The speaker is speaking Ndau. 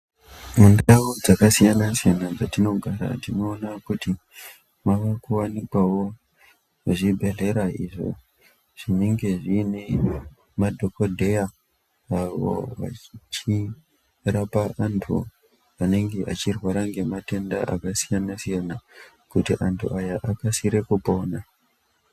Mundau dzakasiyana-siyana dzatinogara tinoona kuti mavakuwanikawo zvibhehlera , izvo zvinenge zvine madhokodheya avo vachirapa vanhu vanenge vachirwara ngematenda aksiyana-siyana, kuti antu aya akasike kupona.